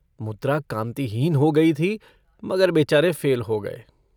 मुद्रा कांतिहीन हो गई थी मगर बेचारे फ़ेल हो गये।